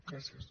gràcies